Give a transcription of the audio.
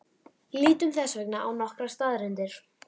Lítum þess vegna á nokkrar staðreyndir.